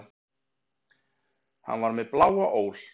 Hann var með bláa ól.